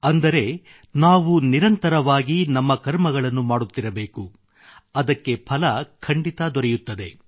ಅಂದರೆ ನಾವು ನಿರಂತರವಾಗಿ ನಮ್ಮ ಕರ್ಮಗಳನ್ನು ಮಾಡುತ್ತಿರಬೇಕು ಅದಕ್ಕೆ ಫಲ ಖಂಡಿತ ದೊರೆಯುತ್ತದೆ